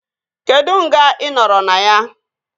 Kedụ nga ị nọrọ na ya?